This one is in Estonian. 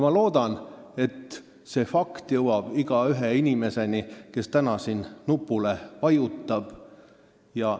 Ma loodan, et see fakt jõuab iga inimeseni, kes täna siin nupule vajutab.